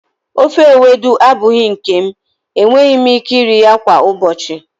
ofe Ewedu abụghị nke m, enweghị m ike iri ya kwa ụbọchị.